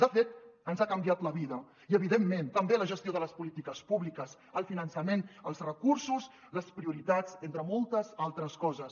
de fet ens ha canviat la vida i evidentment també la gestió de les polítiques públiques el finançament els recursos les prioritats entre moltes altres coses